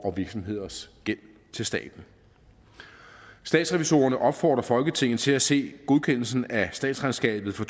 og virksomheders gæld til staten statsrevisorerne opfordrer folketinget til at se godkendelsen af statsregnskabet for